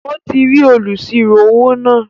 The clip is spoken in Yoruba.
Ó ti rí olùsirò-owó náà